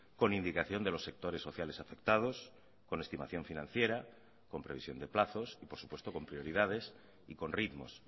con indicación de los sectores sociales afectados con estimación financiera con previsión de plazos y por supuesto con prioridades y con ritmos